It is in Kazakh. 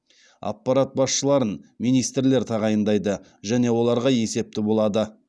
аппарат басшыларын министрлер тағайындайды және оларға есепті болады